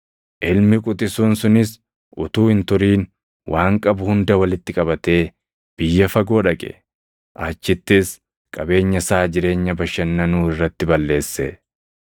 “Ilmi quxisuun sunis utuu hin turin waan qabu hunda walitti qabatee biyya fagoo dhaqe; achittis qabeenya isaa jireenya bashannanuu irratti balleesse.